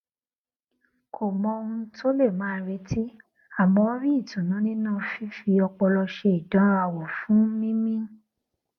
kò mọ ohun tó lè máa retí àmọ ó rí ìtùnú nínú fífi ọpọlọ ṣe ìdánrawò fún mímí